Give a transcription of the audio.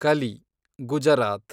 Kali, Gujarat